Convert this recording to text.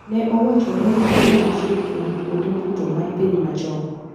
Ne owachore ni mano achiel kuom kwonde budho mar piny machon.